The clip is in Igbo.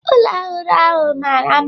Ụlọ ọhụrụ ahụ mara mma.